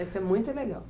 Essa é muito legal.